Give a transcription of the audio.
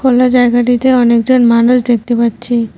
অন্য জায়গাটিতে অনেকজন মানুষ দেখতে পাচ্ছি।